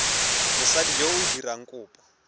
mosadi yo o dirang kopo